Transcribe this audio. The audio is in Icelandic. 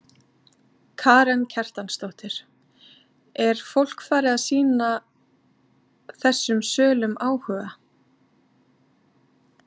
Karen Kjartansdóttir: Er fólk farið að sýna þessum sölum áhuga?